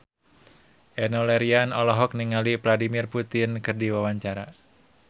Enno Lerian olohok ningali Vladimir Putin keur diwawancara